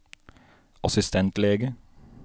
assistentlege